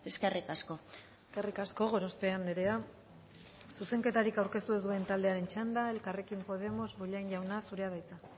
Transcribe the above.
eskerrik asko eskerrik asko gorospe andrea zuzenketarik aurkeztu ez duen taldearen txanda elkarrekin podemos bollain jauna zurea da hitza